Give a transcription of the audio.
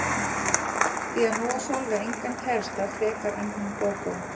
Því að nú á Sólveig engan kærasta frekar en hún Gógó.